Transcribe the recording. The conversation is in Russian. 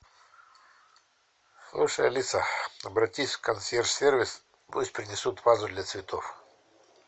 слушай алиса обратись в консьерж сервис пусть принесут вазу для цветов